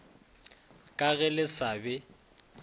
ka ge le sa be